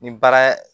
Ni baara ye